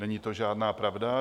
Není to žádná pravda.